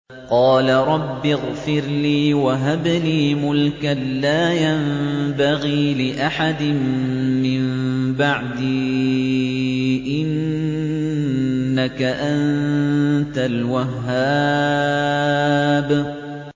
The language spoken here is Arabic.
قَالَ رَبِّ اغْفِرْ لِي وَهَبْ لِي مُلْكًا لَّا يَنبَغِي لِأَحَدٍ مِّن بَعْدِي ۖ إِنَّكَ أَنتَ الْوَهَّابُ